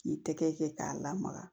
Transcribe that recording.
K'i tɛgɛ kɛ k'a lamaga